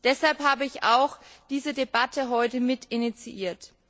Deshalb habe ich diese Debatte heute mitinitiiert.